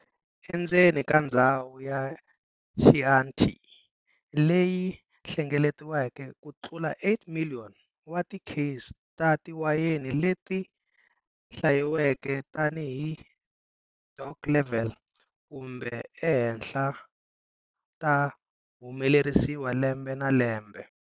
Endzeni ka ndzhawu ya Chianti leyi hlengeletiweke kutlula 8 million wa ti case ta tiwayeni leti hlayiweke tani hi DOC-level kumbe e henhla ta humelerisiwa lembe na lembe.